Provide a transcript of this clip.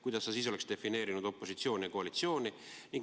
Kuidas sa siis oleks defineerinud opositsiooni ja koalitsiooni?